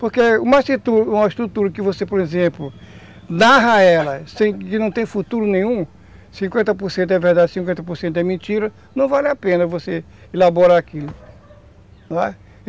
Porque uma estrutura que você, por exemplo, narra ela, que não tem futuro nenhum, cinquenta por cento é verdade, cinquenta por cento é mentira, não vale a pena você elaborar aquilo.